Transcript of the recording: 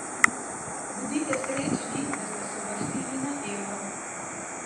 Bodite srečni, da ste se uvrstili na Euro.